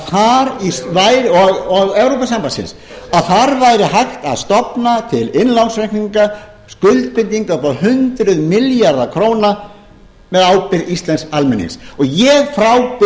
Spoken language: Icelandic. e e s samningsins og evrópusambandsins að þar væri hægt að stofna til innlánsreikninga skuldbindinga upp á hundruð milljarða króna með ábyrgð íslensks almennings ég frábið mér að við